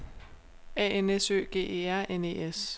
A N S Ø G E R N E S